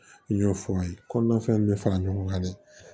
N y'o fɔ aw ye kɔnɔnafɛnw bɛ fara ɲɔgɔn kan dɛ